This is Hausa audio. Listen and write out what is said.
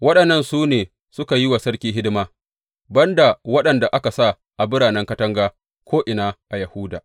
Waɗannan su ne suka yi wa sarki hidima, ban da waɗanda aka sa a biranen katanga ko’ina a Yahuda.